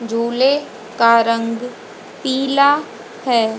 झूले का रंग पीला है।